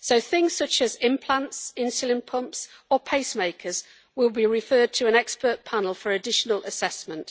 Things such as implants, insulin pumps and pacemakers will be referred to an expert panel for additional assessment.